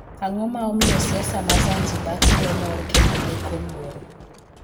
Ang'o ma omiyo siasa ma Zanzibar kelo mor kendo leko luoro?